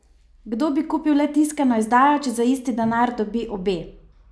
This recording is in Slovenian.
Kdo bi kupil le tiskano izdajo, če za isti denar dobi obe?